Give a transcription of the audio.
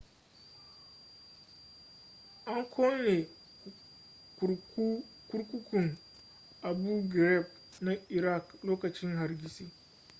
an kone kurkukun abu ghraib na iraq lokacin hargitsi